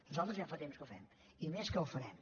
nosaltres ja fa temps que ho fem i més que ho farem